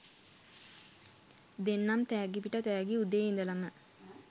දෙන්නම් තෑගි පිට තෑගිඋදේ ඉදලම